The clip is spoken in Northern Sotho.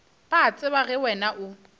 ba tseba ge wena o